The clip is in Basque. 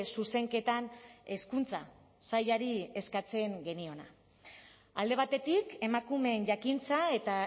zuzenketan hezkuntza sailari eskatzen geniona alde batetik emakumeen jakintza eta